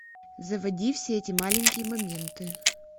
заводи все эти маленькие моменты